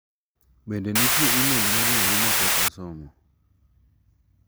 Bende nitie imel mar yahooma pok asomo?